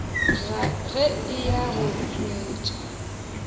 ge a eya go tšwetša